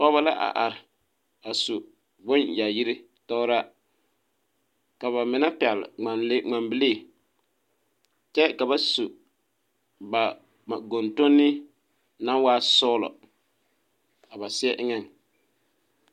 Pɔgeba la a are a su bonyaayiri tɔgraa ka ba mine pɛgle ŋmanle ŋmanbilii kyɛ ka ba su ba ba gontonni naŋ waa sɔglɔ a ba seɛ eŋɛŋ.